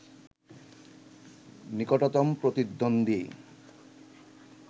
নিকটতম প্রতিদ্বন্দ্বী